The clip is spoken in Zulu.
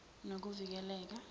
nokuvikeleka